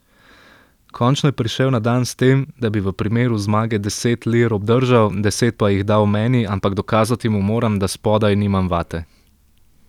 Končno je prišel na dan s tem, da bi v primeru zmage deset lir obdržal, deset pa jih dal meni, ampak dokazati mu moram, da spodaj nimam vate.